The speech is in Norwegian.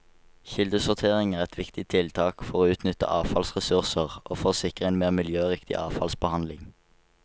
Kildesortering er et viktig tiltak for å utnytte avfallsressurser og for å sikre en mer miljøriktig avfallsbehandling.